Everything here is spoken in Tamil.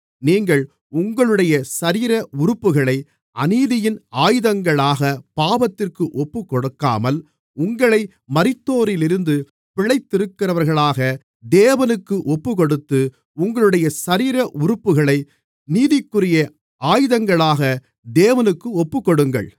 நீங்கள் உங்களுடைய சரீர உறுப்புகளை அநீதியின் ஆயுதங்களாகப் பாவத்திற்கு ஒப்புக்கொடுக்காமல் உங்களை மரித்தோரிலிருந்து பிழைத்திருக்கிறவர்களாக தேவனுக்கு ஒப்புக்கொடுத்து உங்களுடைய சரீர உறுப்புகளை நீதிக்குரிய ஆயுதங்களாக தேவனுக்கு ஒப்புக்கொடுங்கள்